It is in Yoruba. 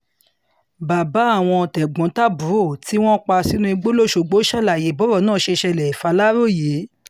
bàbá àwọn tẹ̀gbọ́n-tàbúrò tí wọ́n pa sínú igbó lọ́sogbó ṣàlàyé bọ́rọ̀ náà ṣe ṣẹlẹ̀ fàlàròyé